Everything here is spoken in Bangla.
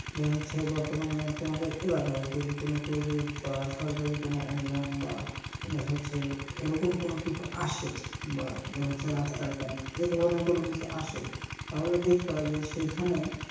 যে হচ্ছে বর্তমানে তোমাদের এলাকায় যদি কোনো project বা সরকারি কোনো অনুদান বা দেখা যাচ্ছে এরকম কোনো কিছু আসে বা দেখা যাচ্ছে রাস্তার কারনে এধরনের কোনো কিছু আসে তাহলে দেখবা যে সেইখানে,